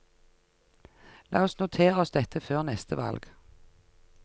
La oss notere oss dette før neste valg.